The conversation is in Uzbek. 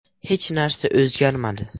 Hech narsa o‘zgarmadi.